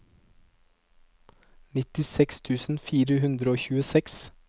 nittiseks tusen fire hundre og tjueseks